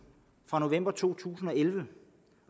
fra november to tusind og elleve